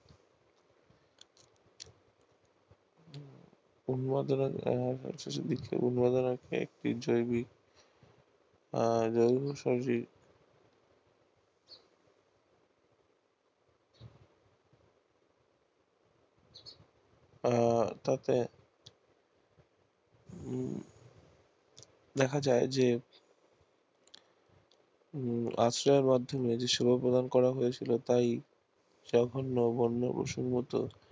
আহ তাকে হম দেখা যায় যে আশ্রয়ের মাধ্যমে যে সেবা প্রদান করা হয়েছিল তাই জঘন্য বন্য পশুর মতো